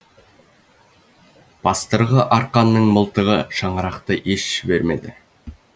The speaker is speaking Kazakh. бастырғы арқанның мылтығы шаңарақты еш жібермеді